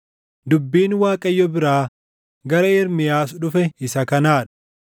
Dubbiin Waaqayyo biraa gara Ermiyaas dhufe isa kanaa dha: